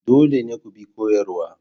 Dole ne ku bi koyarwar.